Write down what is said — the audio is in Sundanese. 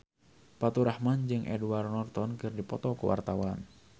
Faturrahman jeung Edward Norton keur dipoto ku wartawan